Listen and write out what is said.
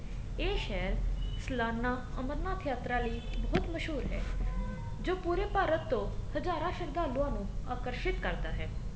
ਇਹ ਸ਼ਹਿਰ ਸਾਲਾਨਾ ਅਮਰਨਾਥ ਯਾਤਰਾ ਲਈ ਬਹੁਤ ਮਸ਼ਹੂਰ ਹੈ ਜੋ ਪੂਰੇ ਭਾਰਤ ਤੋਂ ਹਜਾਰਾ ਸ਼ਰਧਾਲੂਆ ਨੂੰ ਆਕਰਸ਼ਿਤ ਕਰਦਾ ਹੈ